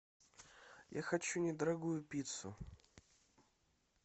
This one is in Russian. я хочу недорогую пиццу